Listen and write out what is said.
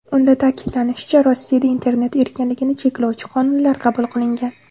Unda ta’kidlanishicha, Rossiyada internet erkinligini cheklovchi qonunlar qabul qilingan.